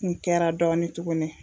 Kun kɛra dɔɔnin tuguni